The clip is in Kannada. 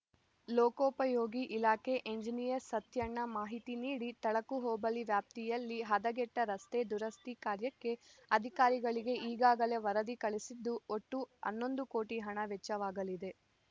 ಲೋಕೋಪಯೋಗಿ ಇಲಾಖೆ ಎಂಜಿನಿಯರ್‌ ಸತ್ಯಣ್ಣ ಮಾಹಿತಿ ನೀಡಿ ತಳಕು ಹೋಬಳಿ ವ್ಯಾಪ್ತಿಯಲ್ಲಿ ಹದಗೆಟ್ಟರಸ್ತೆ ದುರಸ್ತಿ ಕಾರ್ಯಕ್ಕೆ ಅಧಿಕಾರಿಗಳಿಗೆ ಈಗಾಗಲೇ ವರದಿ ಕಳುಹಿಸಿದ್ದು ಒಟ್ಟು ಹನ್ನೊಂದು ಕೋಟಿ ಹಣ ವೆಚ್ಚವಾಗಲಿದೆ